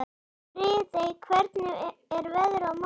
Friðey, hvernig er veðrið á morgun?